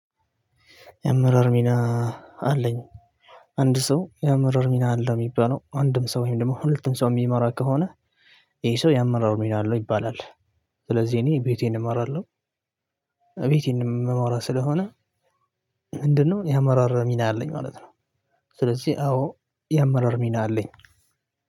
ያመራር ሚና አለኝ አንድ ሰው ያመራር ሚና አለው የሚባለው አንድም ሰው ወይም ደግሞ ሁለቱም ሰው የሚመራ ከሆነ ይሄ ሰው ያመራር ሚና አለው ይባላል። ስለዚህ እኔ ቤቴን እመራለሁ። እቤተን እምመራ ስለሆነ ስለዚህ እኔ ቤቴን እመራለሁ ቤተን እምመራ ስለሆነ።